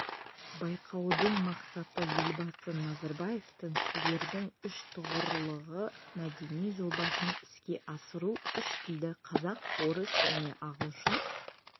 байқаудың мақсаты елбасы назарбаевтың тілдердің үштұғырлығы мәдени жобасын іске асыру үш тілді қазақ орыс және ағылшын